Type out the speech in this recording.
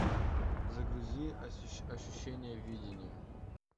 загрузи ощущение видения